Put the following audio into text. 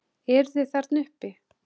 Eruð þið þarna uppi!